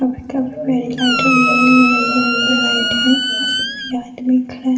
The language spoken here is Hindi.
रंग बिरंगे लाइट है यह आदमी खाड़े --